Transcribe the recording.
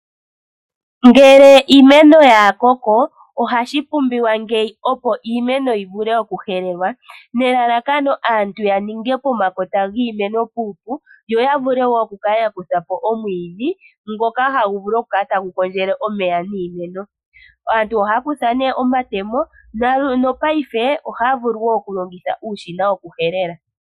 Ngele iimenk ya koko, ohadhi pumbiwa ngeyi opo iimeno yi vule oku helelwa nelalakano aantu ya ninge pomakota giimeno puupu, yo ya vule wo oku kala ya kutha po omwiidhi ngoka hagu vulu oku kala tagu kondjele omeya niimeno. Aantu ohaya kutha nee omatemo nopaife ohaya vulu wo oku longitha uushina woku helela.